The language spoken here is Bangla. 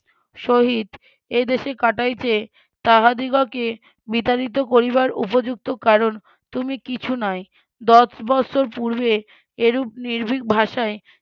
সহিত এদেশে কাটাইতে তাহাদিগকে বিতাড়িত করিবার উপযুক্ত কারণ তুমি কিছু নয় দশ বৎসর পূর্বে এরুপ নির্ভীক ভাষায়